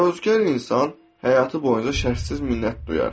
Təvazökar insan həyatı boyunca şərtsiz minnət duyar.